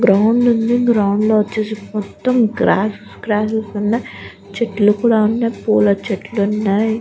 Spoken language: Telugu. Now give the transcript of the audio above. గ్రౌండ్ ఉంది గ్రౌండ్ లో వచ్చేసి మొత్తం గ్రాస్ గ్రాస్సెస్ ఉన్నాయి చెట్లు కూడా ఉన్నాయ్ పూల చెట్లు కూడా ఉన్నాయి.